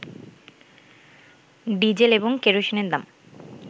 diesel এবং কেরোসিনের দাম